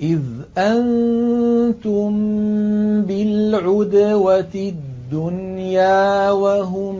إِذْ أَنتُم بِالْعُدْوَةِ الدُّنْيَا وَهُم